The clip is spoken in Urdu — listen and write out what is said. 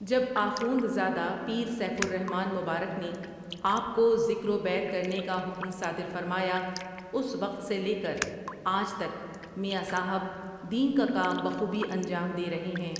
جب آخوندزادہ پیر سیف الر حمن مبارک نے آ پ کو ذکرو بیعت کرنے کا حکم صادر فرمایا اس وقت سے لیکر آج تک میاں صاحب دین کا کام بخوبی انجام دے رہے ہیں ۔